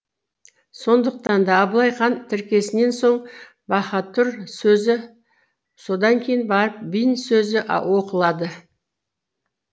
сондықтан да абылай хан тіркесінен соң баһатұр сөзі содан кейін барып бин сөзі оқылады